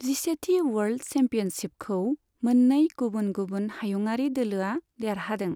जिसेथि world चेम्पिअनशिपखौ मोननै गुबुन गुबुन हायुंआरि दोलोआ देरहादों।